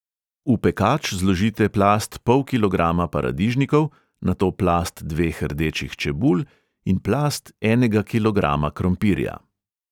V pekač zložite plast pol kilograma paradižnikov, nato plast dveh rdečih čebul in plast enega kilograma krompirja.